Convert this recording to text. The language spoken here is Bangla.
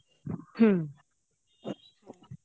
হুম